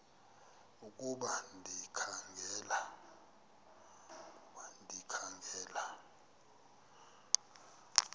ukuba ndikha ngela